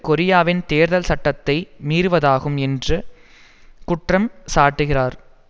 கொரியாவின் தேர்தல் சட்டத்தை மீறுவதாகும் என்று குற்றம் சாட்டுகிறார்